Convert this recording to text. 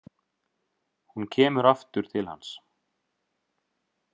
Hún kemur aftur til hans.